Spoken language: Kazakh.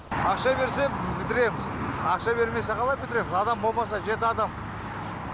ақша берсе бітіреміз ақша бермесе қалай бітіреміз адам болмаса жеті адам